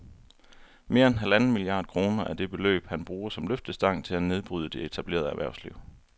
Mere end halvanden milliard kroner er det beløb, han bruger som løftestang til at nedbryde det etablerede erhvervsliv